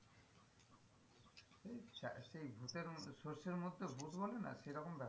সরিষার মধ্যে ভুত বলে না সেই রকম ব্যাপার।